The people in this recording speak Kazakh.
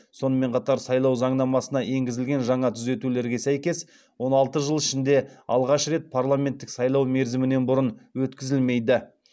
сонымен қатар сайлау заңнамасына енгізілген жаңа түзетулерге сәйкес он алты жыл ішінде алғаш рет парламенттік сайлау мерзімінен бұрын өткізілмейді